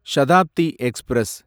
Shatabdi express